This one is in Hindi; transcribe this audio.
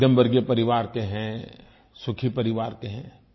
हम मध्यमवर्गीय परिवार के हैं सुखी परिवार के हैं